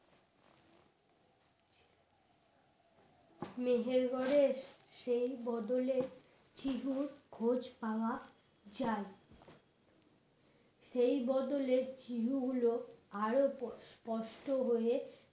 মেহেরগড়ের সেই বদলে চিহ্ন খোঁজ পাওয়া যায় সেই বদলে চিহ্ন গুলো আরো স্পষ্ট হয়ে